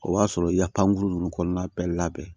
O b'a sɔrɔ i ya pankuru ninnu kɔnɔna bɛɛ labɛn